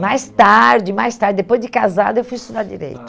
Mais tarde, mais tarde, depois de casada, eu fui estudar direito. Ah